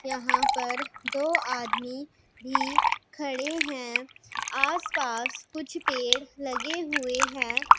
यहां पर दो आदमी भी खड़े हैं आस पास कुछ पेड़ लगे हुए हैं।